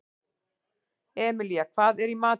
Emilía, hvað er í matinn?